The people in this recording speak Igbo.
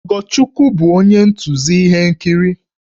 Ogochukwu bụ onye ntụzi ihe nkiri